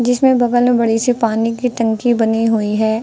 जिसमे बगल में बड़ी सी पानी की टंकी बनी हुई है।